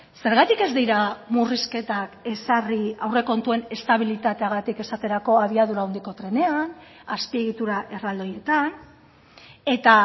zergatik ez dira murrizketak ezarri aurrekontuen estabilitateagatik esaterako abiadura handiko trenean azpiegitura erraldoietan eta